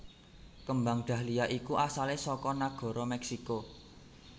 Kembang Dahlia iku asale saka nagara Meksiko